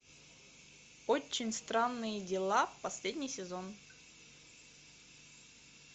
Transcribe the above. очень странные дела последний сезон